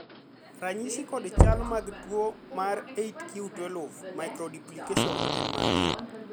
ranyisi kod chal mag tuo mar 8q12 microduplication gin mage?